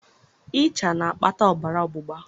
ịcha na-akpata ọbara ọgbụgba